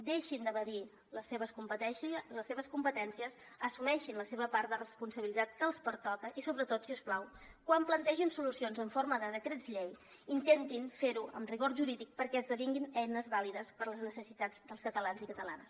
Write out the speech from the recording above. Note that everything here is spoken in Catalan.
deixin d’evadir les seves competències assumeixin la seva part de responsabilitat que els pertoca i sobretot si us plau quan plantegin solucions en forma de decrets llei intentin fer ho amb rigor jurídic perquè esdevinguin eines vàlides per a les necessitats dels catalans i catalanes